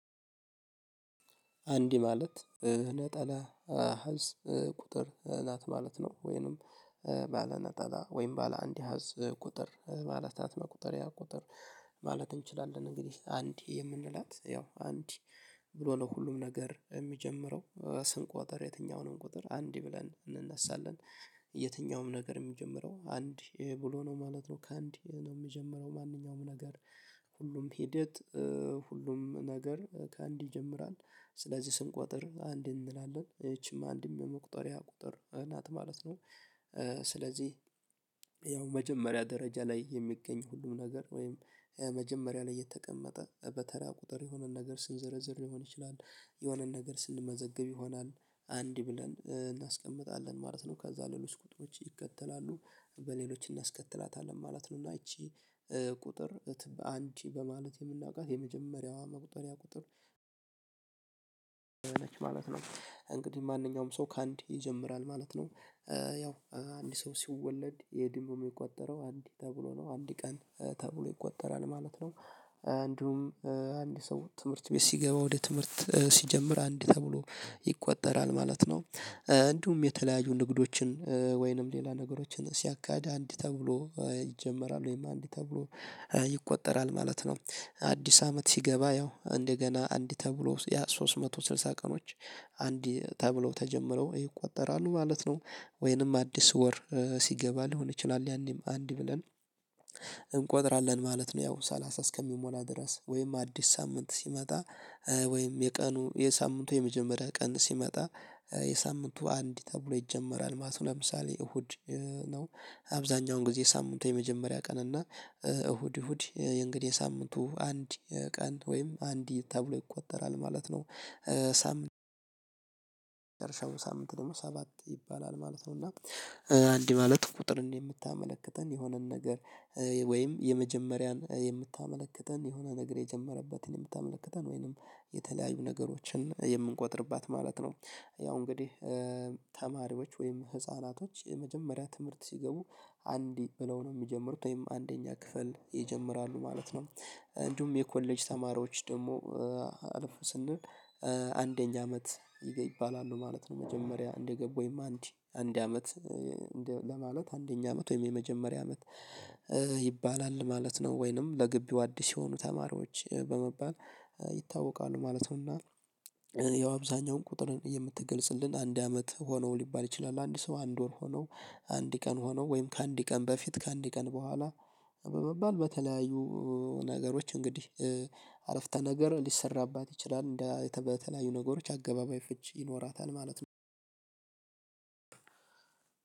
አንድ ማለት ነጠላ ህዝብ ቁጥር ናት ማለት ነው ወይንም ባለ ነጠላ ወይንም ባለ አንድ ሀሃስ ቁጥር ባለ ታት መቁጠሪያ ቁጥር ማለት እንችላለን። እንግዲህ አንድ የምንላት ያው አንድ ብሎ ነው ሁሉም ነገር የሚጀምረው ስንቆጥር የትኛውንም ቁጥር አንድ ብለን እንነሳለን። የትኛውም ነገር የሚጀምረው አንድ ይሄ ብሎ ነው ማለት ነው። ከአንድ ነው የሚጀምረው ማንኛውም ነገር። ሁሉም ሂደት ሁሉም ነገር ከአንድ ይጀምራል። ስለዚህ ስንቆጥር አንድ እንላለን ሶ ይቺም አንድም የመቁጠሪያ ቁጥር እናት ማለት ነው። ስለዚህ ያው መጀመሪያ ደረጃ ላይ የሚገኝ ሁሉም ነገር ወይም መጀመሪያ ላይ የተቀመጠ በተራ ቁጥር የሆነን ነገር ስንዘረዝር ሊሆን ይችላል። የሆነን ነገር ስንመዘግብ ይሆናል አንድ ብለን እናስቀምጣለን ማለት ነው። ከዛ ሌሎች ቁጥሮች ይከተላሉ በሌሎች እናስከትላታለን ማለት ነው። እና ይቺ ቁጥርበትም አንቺ በማለት የምናውቃት የመጀመሪያዋ መቁጠሪያ ቁጥር ነች ማለት ነው። እንግዲህ ማንኛውም ሰው ከአንድ ይጀምራል ማለት ነው። ያው አንድ ሰው ሲወለድ ወይም ደግሞ የቆጠረው አንድ ተብሎ ነው አንድ ቀን ተብሎ ይቆጠራል ማለት ነው። አንድም አንድ ሰው ትምህርት ቤት ሲገባ ወደ ትምህርት ሲጀምር አንድ ተብሎ ይቆጠራል ማለት ነው። እንዲሁም የተለያዩ ንግዶችን ወይንም ሌላ ነገሮችን ሲያካሄድ አንድ ተብሎ ይጀመራል ወይም አንድ ተብሎ ይቆጠራል ማለት ነው። አዲስ አመት ሲገባ ያው እንደገና አንድ ተብሎ ያ ሶስት መቶ ስልሳ ቀኖች አንድ ተብለው ተጀምረው ይቆጠራሉ ማለት ነው። ወይንም አዲስ ወር ሲገባ ሊሆን ይችላል ያኔም አንድ ብለን እንቆጥራለን ማለት ነው። ያው ሰላሳ እስከሚሞላ ድረስ ወይም አዲስ ሳምንት ሲመጣ ወይም የቀኑ የሳምንቱ የመጀመሪያ ቀን ሲመጣ የሳምንቱ አንድ ተብሎ ይጀመራል ማለት ነው። ለምሳሌ እሁድ ነው። አብዛኛውን ጊዜ ሳምንት የመጀመሪያ ቀን እና እሁድ እሁድ የእንግዲህ ሳምንቱ አንድ ቀን ወይም አንድ ተብሎ ይቆጠራል ማለት ነው። ሳምንት ደግሞ ሳምንት ደግሞ ሰባት ይባላል ማለት ነው። እና አንድ ማለት ቁጥር የምታመለክተን የሆነን ነገር ወይም የመጀመሪያን የምታመለክተን የሆነ ነገር የጀመረበትን የምታመለክተን ወይንም የተለያዩ ነገሮችን የምንቆጥርባት ማለት ነው። ያው እንግዲህ ተማሪዎች ወይም ህፃናቶች የመጀመሪያ ትምህርት ሲገቡ አንድ ብለው ነው የሚጀምሩት ወይም አንደኛ ክፍል ይጀምራሉ ማለት ነው። እንዲሁም የኮሌጅ ተማሪዎች ደግሞ አልፍ ስንል አንደኛ አመት ይባላሉ ማለት ነው። መጀመሪያ እንደገቡ ወይም አንድ አንድ አመት ያ ማለት አንደኛ አመት ወይም የመጀመሪያ አመት ይባላል ማለት ነው። ወይንም ለግቢው አዲስ የሆኑ ተማሪዎች በመባል ይታወቃሉ ማለት ነው። እና ያው አብዛኛውን ቁጥርን የምትገልጽልን አንድ አመት ሆነው ሊባል ይችላል አንድ ሰው አንድ ወር ሆነው አንድ ቀን ሆነው ወይም ከአንድ ቀን በፊት ከአንድ ቀን በኋላ በመባል በተለያዩ ነገሮች እንግዲህ አረፍተ ነገር ሊሰራባት ይችላል። በተለያዩ ነገሮች አገባባዊ ፍቺ ይኖራታል ማለት ነው።